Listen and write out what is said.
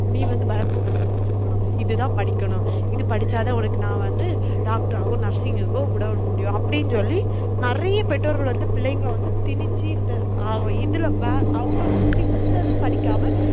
நீ வந்து இது தான் படிக்கனும் இது படிச்சா தான் உனக்கு நான் வந்து doctor ஆவோ nursing க்கோ விடமுடியும் அப்டின்னு சொல்லி நெறைய பெற்றோர்கள் வந்து பிள்ளைங்கள வந்து திணிச்சி இந்த இதுல அவங்களுக்கு பிடிச்சத படிக்காம